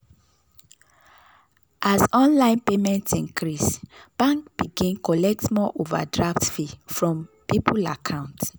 as online payment increase bank begin collect more overdraft fee from people account.